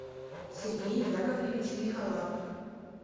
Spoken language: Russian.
сергей яковлевич михолап